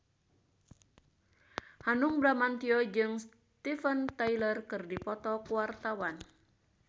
Hanung Bramantyo jeung Steven Tyler keur dipoto ku wartawan